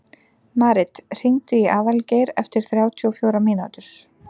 Marit, hringdu í Aðalgeir eftir þrjátíu og fjórar mínútur.